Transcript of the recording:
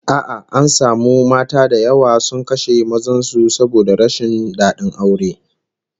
A'a, an samu mata da yawa sun kashe mazan su saboda rashin dadin aure